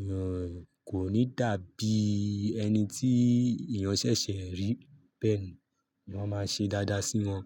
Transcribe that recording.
ìyẹn kò ní dàbí ẹni tí èèyàn ṣẹ̀ṣẹ̀ ń rí. Bẹ́ẹ̀ ni wọ́n máa ṣe dáadáa sí wọn.